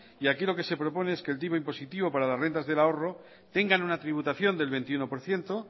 y aquí lo que se propone es que el tipo impositivo para las rentas del ahorro tengan una tributación del veintiuno por ciento